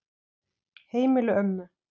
Heimili ömmu.